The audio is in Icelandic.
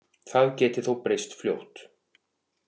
Það geti þó breyst fljótt